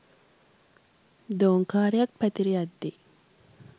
දෝංකාරයක් පැතිර යද්දී